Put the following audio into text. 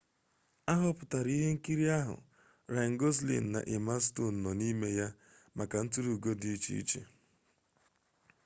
aghoputara ihe nkiri ahu ryan gosling na emma stone no n'ime ya maka nturu ugo di iche iche